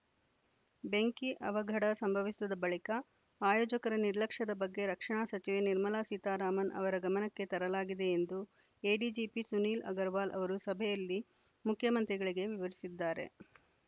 ಬೆಂಕಿ ಅವಘಡ ಸಂಭವಿಸಿದ ಬಳಿಕ ಆಯೋಜಕರ ನಿರ್ಲಕ್ಷ್ಯದ ಬಗ್ಗೆ ರಕ್ಷಣಾ ಸಚಿವೆ ನಿರ್ಮಲಾ ಸೀತಾರಾಮನ್‌ ಅವರ ಗಮನಕ್ಕೆ ತರಲಾಗಿದೆ ಎಂದು ಎಡಿಜಿಪಿ ಸುನೀಲ್‌ ಅಗರ್‌ವಾಲ್‌ ಅವರು ಸಭೆಯಲ್ಲಿ ಮುಖ್ಯಮಂತ್ರಿಗಳಿಗೆ ವಿವರಿಸಿದ್ದಾರೆ